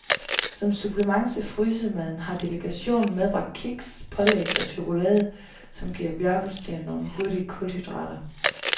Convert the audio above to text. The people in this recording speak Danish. Som supplement til frysemaden har delegationen medbragt kiks, pålæg og chokolade, som giver bjergbestigeren nogle hurtige kulhydrater.